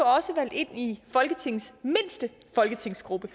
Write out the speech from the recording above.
også valgt ind i folketingets mindste folketingsgruppe